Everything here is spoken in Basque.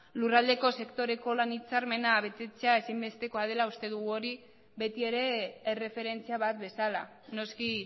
lurraldeko sektoreko lan hitzarmena betetzea ezinbestekoa dela uste dugu hori betiere erreferentzia bat bezala noski